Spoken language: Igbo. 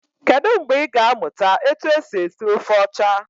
Kedụ mgbe i ga amụta etu esi esi ofe ọcha?